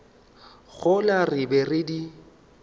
gola re be re di